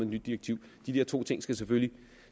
nyt direktiv de der to ting skal selvfølgelig